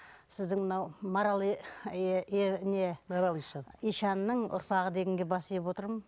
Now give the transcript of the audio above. сіздің мынау маралы марал ишан ишанның ұрпағы дегенге бас иіп отырмын